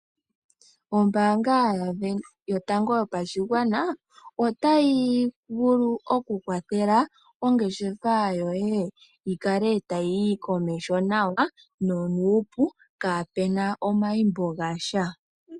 Ombaanga Yotango Yopashigwana otayi vulu okukwathela ongeshefa yoye yi kale tayi yi komeho nawa nonuupu kaapu na omayimbo ga sha.